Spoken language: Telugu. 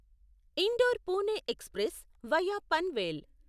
indoor Pune express via Panvel